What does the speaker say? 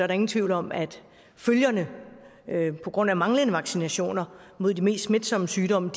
der ingen tvivl om at følgerne på grund af manglende vaccinationer mod de meste smitsomme sygdomme